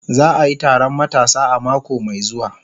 Za a yi taron matasa a mako mai zuwa